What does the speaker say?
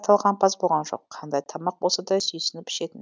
талғампаз болған жоқ қандай тамақ болса да сүйсініп ішетін